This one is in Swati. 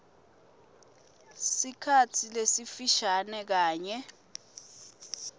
sikhatsi lesifishane kanye